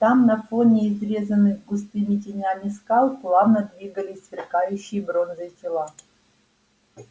там на фоне изрезанных густыми тенями скал плавно двигались сверкающие бронзой тела